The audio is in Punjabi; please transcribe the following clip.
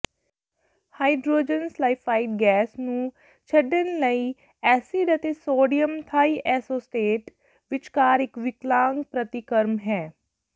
ਹਾਈਡਰੋਜਨ ਸਲਾਈਫਾਈਡ ਗੈਸ ਨੂੰ ਛੱਡਣ ਲਈ ਐਸਿਡ ਅਤੇ ਸੋਡੀਅਮ ਥਾਈਐਸੋਟੇਟ ਵਿਚਕਾਰ ਇਕ ਵਿਕਲਾਂਗ ਪ੍ਰਤੀਕਰਮ ਹੈ